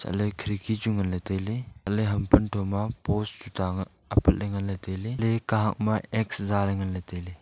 chatley khirki chu ngan ley tailey chat ley ham pamtho ma post tuita apat le tailey le kahak ma x zale ngan ley tailey.